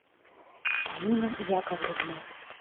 полина яковлевна